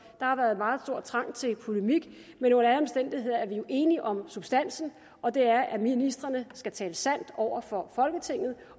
har været en meget stor trang til polemik men under alle omstændigheder er vi jo enige om substansen og det er at ministrene skal tale sandt over for folketinget